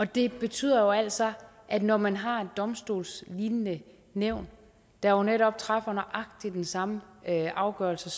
det betyder jo altså at når man har et domstolslignende nævn der jo netop træffer nøjagtig den samme afgørelse